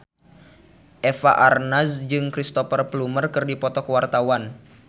Eva Arnaz jeung Cristhoper Plumer keur dipoto ku wartawan